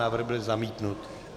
Návrh byl zamítnut.